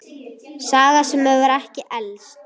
Saga sem hefur ekki elst.